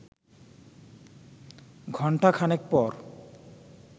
ঘণ্টা খানেক পর